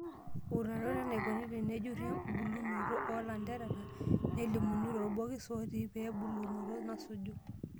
Uutarot enaikoni tenejuri embulunoto oo lanterera, nelimuno torbokis otii ee mbolunoto nasuju.